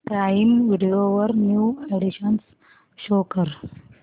prime video वरील new additions show कर